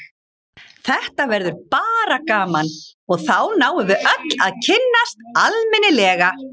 Þetta verður bara gaman og þá náum við öll að kynnast almennilega.